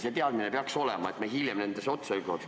See teadmine peaks olema, et meil hiljem probleeme poleks.